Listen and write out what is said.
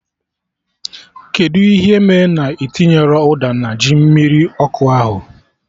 Kedụ ihe mee na ị tinyerọ ụda na ji mmiri ọkụ ahụ?